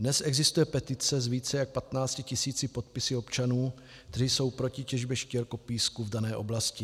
Dnes existuje petice s více jak 15 tis. podpisy občanů, kteří jsou proti těžbě štěrkopísku v dané oblasti.